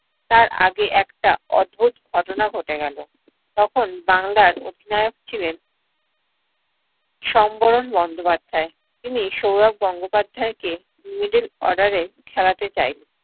তার আগে একটা অদ্ভুত ঘটনা ঘটে গেলো। তখন বাংলার অধিনায়ক ছিলেন সম্বরণ বন্দ্যোপাধ্যায়। তিনি সৌরভ গঙ্গোপাধ্যায়কে middle order এ খেলাতে চাইলেন।